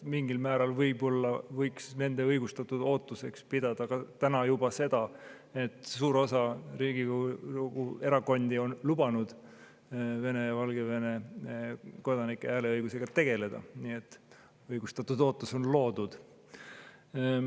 Mingil määral võib-olla võiks nende õigustatud ootuseks täna pidada seda, et suur osa Riigikogu erakondi on lubanud Vene ja Valgevene kodanike hääleõigusega tegeleda, nii et õigustatud ootus on loodud.